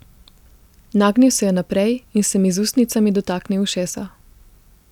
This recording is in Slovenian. Nagnil se je naprej in se mi z ustnicami dotaknil ušesa.